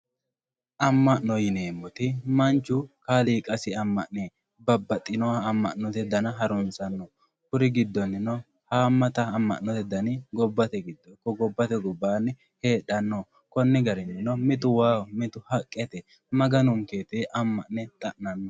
amma'note yineemmoti manchu kaaliqasi amma'ne babbaxino amma'note dana harunsanno haammata amm'note dani gobbate giddo ikko gobbate gobbaanni heedhanno konni garinnino mitu waaho mitu haqqeteno kaka'lanno